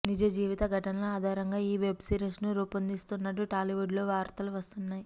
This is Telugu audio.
నిజ జీవిత ఘటనల ఆధారంగా ఈ వెబ్ సిరీస్ ను రూపొందిస్తున్నట్టు టాలీవుడ్ లో వార్తలు వస్తున్నాయి